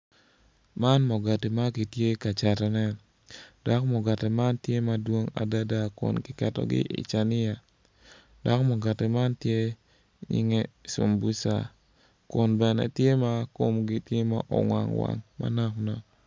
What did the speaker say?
Man mugati ma kitye ka catone dok mugati man tye madwong adada kun kiketogi i cania dok mugati man tye inge cumbuca kun bene tye ma komgi tye ma owang wang manok nok.